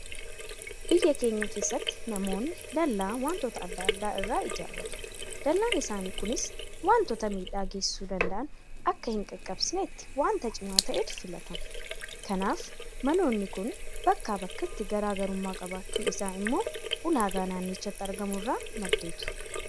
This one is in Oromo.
Biyya keenya keessatti namoonni dallaa waantota adda addaa irraa ijaarratu. Dallaan isaanii kunis waantota miidhaa geessisuu danda'an akka hinqaqqabsiifnetti waanta cimaa ta'etu filatama. Kanaaf maloonni. kun bakkaa bakkatti garaa garummaa qabaachuun isaa immoo ulaagaa naannichatti argamu irraa maddeetu.